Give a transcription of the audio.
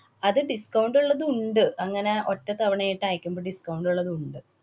അത് discount ഉള്ളതും ഉണ്ട്. അങ്ങനെ ഒറ്റത്തവണേയിട്ട് അയക്കുമ്പ discount ഉള്ളതും ഉണ്ട്.